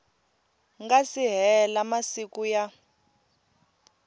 nga si hela masiku ya